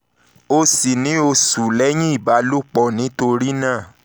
o sì ní oṣù lẹ́yìn ìbálòpọ̀ nítorí náà oyún kò ṣeé ṣe